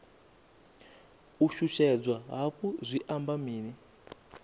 u shushedzwa hafhu zwi amba mini